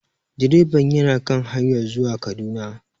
Direban yana kan hanyar zuwa Kaduna